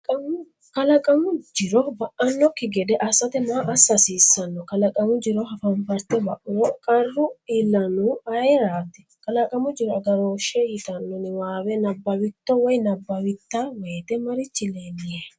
Kalaqamu jiro ba’annokki gede assate maa assa hasiissanno? Kalaqamu jiro hafanfarte ba’uro qarru iillannohu ayeraati? Kalaqamu Jiro Agarooshshe yitanno niwaawe nabbawitto/a woyte marichi leellihe?